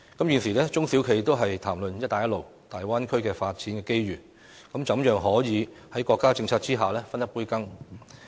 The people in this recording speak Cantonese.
現時，中小企都在談論"一帶一路"和粵港澳大灣區的發展機遇，希望可以在國家政策下分一杯羹。